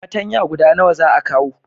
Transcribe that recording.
patanya guda nawa za a kawo?